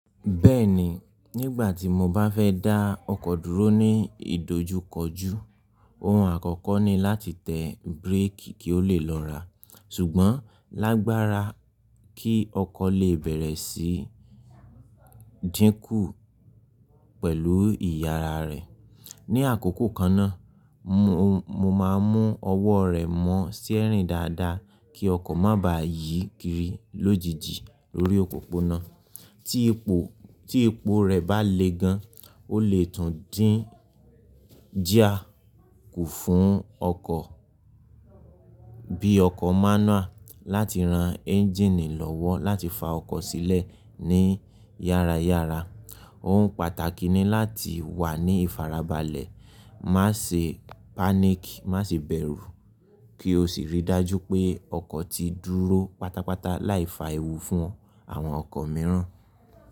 Bẹ́ẹ̀ni, nígbà tí mo bá fẹ́ dá ọkọ̀ dúró ní ìdojúkọjú, ohun àkọ́kọ́ ni láti tẹ bíréékì kí ó lè lọ́ra, ṣùgbọ́n lágbára kí ọkọ̀ lè bẹ̀rẹ̀ sí dínkù pẹ̀lú ìyára rẹ̀. Ni àkókò kan náà, mo mo máa mú ọwọ́ rẹ̀ mọ́ steering dáadáa kí ọkọ̀ má ba yí kiri lójijì lórí òpópónà, ti ipo. Tí epo rẹ̀ bá le gan, ó lè tún dín geer ku fún ọkọ̀ bí ọkọ̀ mánúàl láti ran ẹ́njìnì lọ́wọ́ láti fa ọkọ̀ sílẹ̀ ní yára yára. Ohun pàtàkì ni láti wà ní ìfarabalẹ̀, má ṣe páníkì, má sì bẹ̀rù kí o sì rí i dájú pé ọkọ̀ ti dúró pátápátá láìfa ewu fún àwọn ọkọ̀ mìíràn.